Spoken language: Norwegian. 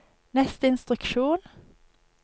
neste instruksjon